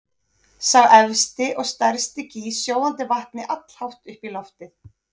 Sá efsti og stærsti gýs sjóðandi vatni allhátt upp í loftið.